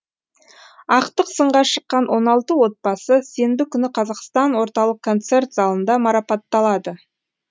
ақтық сынға шыққан он алты отбасы сенбі күні қазақстан орталық концерт залында марапатталады